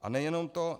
A nejenom to.